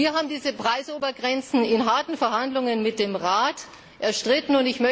Wir haben diese Preisobergrenzen in harten Verhandlungen mit dem Rat erstritten.